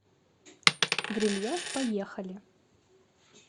грильяж поехали